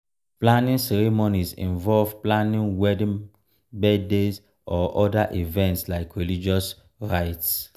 planning ceremonies involve planning wedding birthday or oda events like religious rites